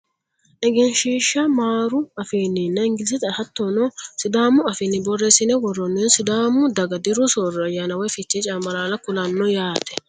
egenshiishsha maaru afiinninna ingilizete hattono sidaamu afiinni borreessine worroonniha sidaamu daga diru soorro ayyaana woye fichee cambalaalla kulannoho yaate .